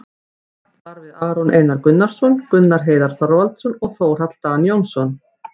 Rætt var við Aron Einar Gunnarsson, Gunnar Heiðar Þorvaldsson og Þórhall Dan Jóhannsson,